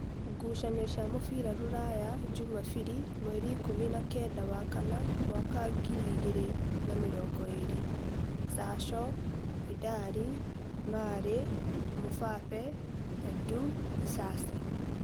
ngucanio cia mũbira Ruraya Jumabiri mweri ikũmi na kenda wa kana mwaka wa ngiri igĩrĩ na mĩrongoĩrĩ: Sasho, Vidali, Marĩ, Mubape, Edu, Bisasi